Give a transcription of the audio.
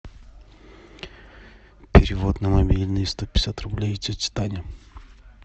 перевод на мобильный сто пятьдесят рублей тетя таня